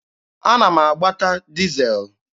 Ana m agbata dizel.